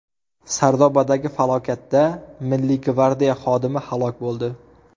Sardobadagi falokatda Milliy gvardiya xodimi halok bo‘ldi.